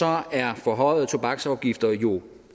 er forhøjede tobaksafgifter jo